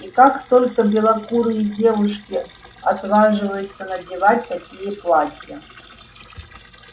и как только белокурые девушки отваживаются надевать такие платья